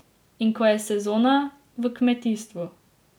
In ko je sezona, v kmetijstvu.